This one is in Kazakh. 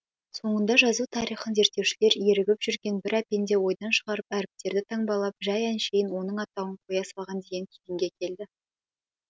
соңында жазу тарихын зерттеушілер ерігіп жүрген бір әпенде ойдан шығарып әріптерді таңбалап жай әншейін оның атауын қоя салған деген түйінге келді